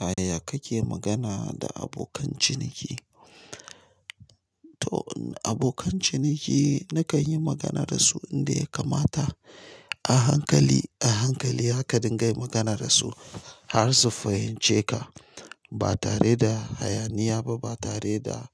Yaya kake magana da abokan ciniki? To abokan ciniki nakan yi magana da su inda ya kamata. A hankali, a hankali haka dinga yin magana da su har su fahimce ka. Ba tare da hayaniya ba, ba tare da